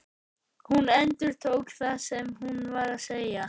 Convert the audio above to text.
Hún endurtók það sem hún var að segja.